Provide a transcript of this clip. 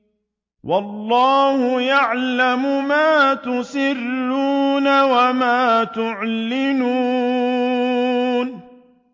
وَاللَّهُ يَعْلَمُ مَا تُسِرُّونَ وَمَا تُعْلِنُونَ